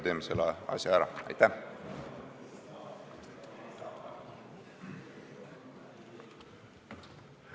Teeme selle asja ära!